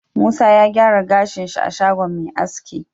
Musa ya gyara gashin shi a shagon Me aski